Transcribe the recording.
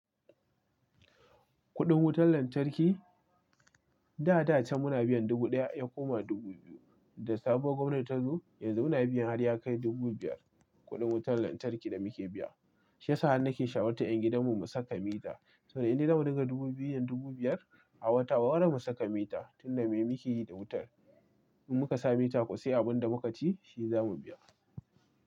Kuɗin wutar lantarki, da da can muna biyan dubu ɗaya ya koma dubu biyu. Da sabuwar gwamnati ta zo yanzu muna biyan har ya kai dubu biyar kuɗin wutar lantarki da muke biya. Shiyasa han na ke shawartar 'yan gidanmu mu saka mita. To dai inda zamu riƙa dubu biyu da dubu biyar a wata, wa wane mu saka mita? Tunda me muke yi da wutar. In muka sa mita, ku sai abin da muka ci shi zamu biya.